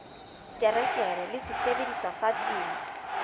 terekere le sesebediswa sa temo